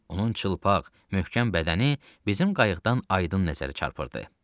Onun çılpaq, möhkəm bədəni bizim qayıqdan aydın nəzərə çarpırdı.